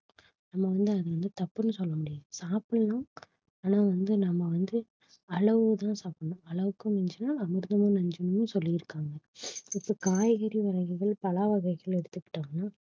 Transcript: நம்ம வந்து அதை வந்து தப்புன்னு சொல்ல முடியாது சாப்பிடலாம் ஆனா வந்து நம்ம வந்து அளவு தான் சாப்பிடணும் அளவுக்கு மிஞ்சினால் அமிர்தமும் நஞ்சுனு சொல்லி இருக்காங்க இப்ப காய்கறி வகைகள் பழ வகைகள்னு எடுத்து கிட்டோம்னா